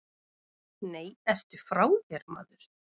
Nei, ertu frá þér, maður.